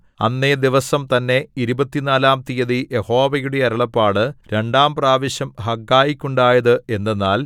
അന്നേ ദിവസം തന്നെ ഇരുപത്തിനാലാം തീയതി യഹോവയുടെ അരുളപ്പാട് രണ്ടാം പ്രാവശ്യം ഹഗ്ഗായിക്കുണ്ടായത് എന്തെന്നാൽ